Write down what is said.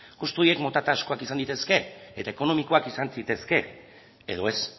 kostu horiek mota askotakoak izan daitezke eta ekonomikoak izan zitezkeen edo ez